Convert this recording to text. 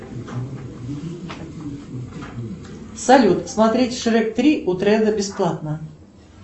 салют смотреть шрек три бесплатно